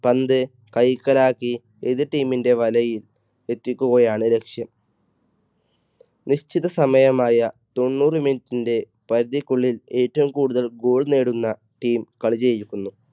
പന്ത് കൈക്കലാക്കി എതിർ team ൻറെ വലയിൽ എത്തിക്കുകയാണ് ലക്ഷ്യം. നിശ്ചിത സമയമായ തൊണ്ണൂറ് minute ന്റെ പരിധിക്കുള്ളിൽ ഏറ്റവും കൂടുതൽ goal നേടുന്ന team കളി ജയിക്കത്തുള്ളൂ.